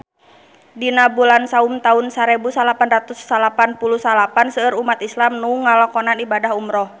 Dina bulan Saum taun sarebu salapan ratus salapan puluh salapan seueur umat islam nu ngalakonan ibadah umrah